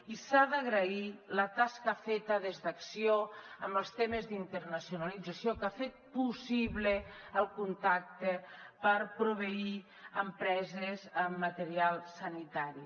i s’ha d’agrair la tasca feta des d’acció en els temes d’internacionalització que ha fet possible el contacte per proveir empreses amb material sanitari